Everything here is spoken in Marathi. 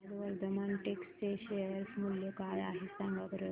आज वर्धमान टेक्स्ट चे शेअर मूल्य काय आहे सांगा बरं